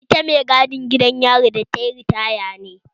Ita mai gadin gidan yari da tayi ritaya ne?